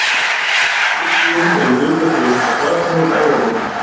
Uppgufunin er í hlutfalli við þetta flatarmál efra borðsins.